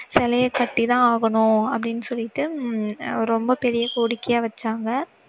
சிலையை கட்டி தான் ஆகணும் அப்படின்னு சொல்லிட்டு உம் ரெம்ப பெரிய கோரிக்கையா வச்சாங்க.